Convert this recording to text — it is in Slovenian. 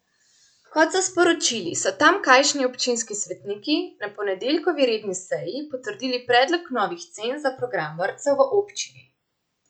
Kot so sporočili, so tamkajšnji občinski svetniki na ponedeljkovi redni seji potrdili predlog novih cen za program vrtcev v občini.